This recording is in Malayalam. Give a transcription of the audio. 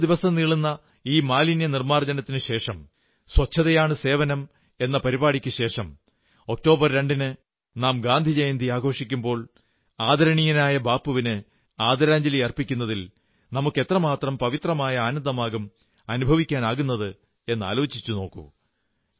15 ദിവസം നീളുന്ന ഈ മാലിന്യനിർമ്മാർജ്ജനത്തിനുശേഷം ശുചിത്വമാണു സേവനം എന്ന പരിപാടിക്കുശേഷം ഒക്ടോബർ 2 ന് നാം ഗാന്ധിജയന്തി ആഘോഷിക്കുമ്പോൾ ആദരണീയനായ ബാപ്പുവിന് ആദരഞ്ജലി അർപ്പിക്കുന്നതിൽ നമുക്ക് എത്രമാത്രം പവിത്രമായ ആനന്ദമാകും അനുഭവിക്കാനാകുന്നതെന്ന് ആലോചിച്ചുനോക്കൂ